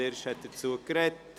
Wyrsch hat sich dazu geäussert.